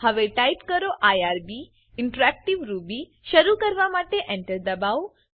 હવે ટીપ કરો IRB interactive Ruby શરૂ કરવા માટે Enter દબાઓ